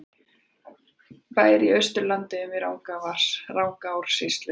Bær í Austur-Landeyjum í Rangárvallasýslu.